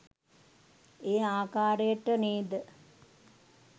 ඒ ආකරයට නේද?